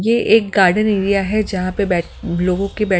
ये एक garden area है जहां पे बैठ लोगों के--